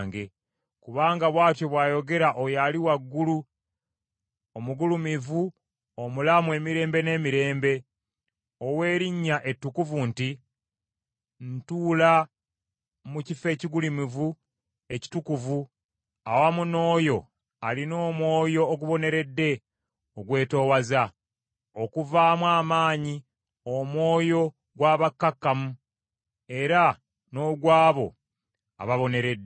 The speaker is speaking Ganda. Kubanga bw’atyo bw’ayogera oyo ali waggulu omugulumivu omulamu emirembe n’emirembe, ow’erinnya ettukuvu nti, “Ntuula mu kifo ekigulumivu ekitukuvu awamu n’oyo alina omwoyo oguboneredde ogwetoowaza, okuzzaamu amaanyi omwoyo gw’abakkakkamu, era n’ogw’abo ababoneredde.